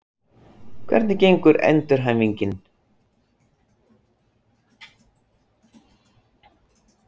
Hvernig gengur endurhæfingin?